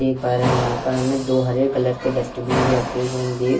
देख पा रहें हैं यहाँ पर हमे दो हरे कलर के डस्टमीन भी रखे हुए है। हम देख --